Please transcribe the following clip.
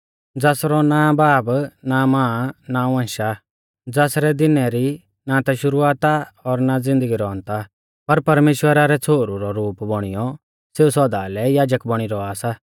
ज़ासरौ ना बाब ना मां ना वंश आ ज़ासरै दिनै रौ ना ता शुरुआत आ और ना ज़िन्दगी रौ अन्त आ पर परमेश्‍वरा रौ छ़ोहरु रौ रूप बौणियौ सेऊ सौदा लै याजक बौणी रौआ सा